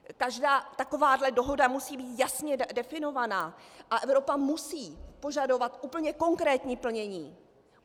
Každá taková dohoda musí být jasně definovaná a Evropa musí požadovat úplně konkrétní plnění.